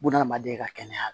Buna adamaden ka kɛnɛya